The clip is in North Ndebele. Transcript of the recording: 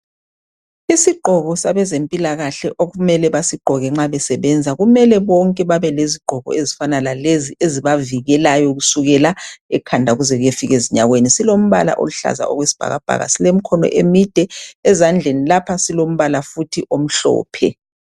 Isigqoko sabezempilakahle okumele basigqoke nxa besebenza. Kumele bonke babelezigqoko, ezifana lalezi, ezibavikelayo kusukela ekhanda kuze kuyefika ezinyaweni. Silombala oluhlaza okwesibhakabhaka. Silemkhono emide. Ezandleni lapha, silombala futhi omhlophe.